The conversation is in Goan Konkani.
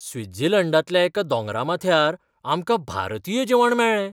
स्वित्झर्लंडांतल्या एका दोंगरा माथ्यार आमकां भारतीय जेवण मेळ्ळें.